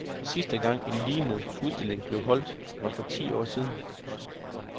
Sidste gang, en lignende udstilling blev holdt, var for ti år siden.